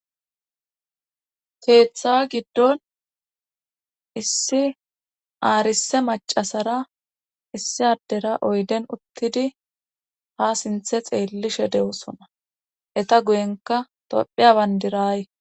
keeththa giddon issi aarise macasara issi addera oyden uttidi ha sinthe xeellishe de'osona eta guyenka tophea bandiray